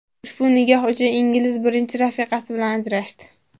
Ushbu nikoh uchun ingliz birinchi rafiqasi bilan ajrashdi.